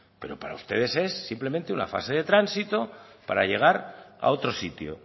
pero para ustedes es simplemente una fase de tránsito para llegar a otro sitio